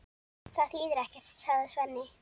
Það þýðir ekkert, sagði Svenni.